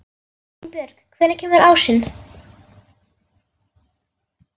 Einbjörg, hvenær kemur ásinn?